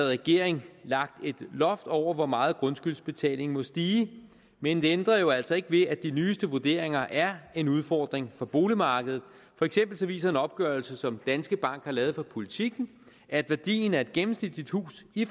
regering lagt et loft over hvor meget grundskyldsbetalingen må stige men det ændrer jo altså ikke ved at de nyeste vurderinger er en udfordring for boligmarkedet for eksempel viser en opgørelse som danske bank har lavet for politiken at værdien af et gennemsnitligt hus i